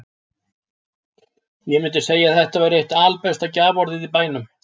Ég mundi segja að þetta væri eitt albesta gjaforðið í bænum.